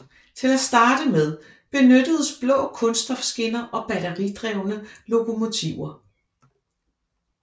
Til at starte med benyttedes blå kunststofskinner og batteridrevne lokomotiver